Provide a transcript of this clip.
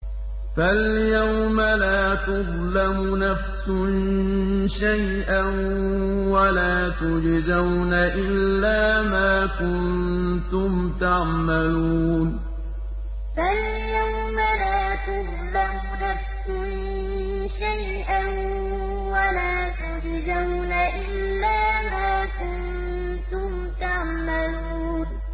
فَالْيَوْمَ لَا تُظْلَمُ نَفْسٌ شَيْئًا وَلَا تُجْزَوْنَ إِلَّا مَا كُنتُمْ تَعْمَلُونَ فَالْيَوْمَ لَا تُظْلَمُ نَفْسٌ شَيْئًا وَلَا تُجْزَوْنَ إِلَّا مَا كُنتُمْ تَعْمَلُونَ